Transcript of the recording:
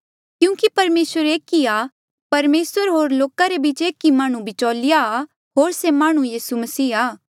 क्यूंकि परमेसर एक ई आ परमेसर होर लोका रे बीच एक ई माह्णुं बिचौलिया आ होर से माह्णुं यीसू मसीह आ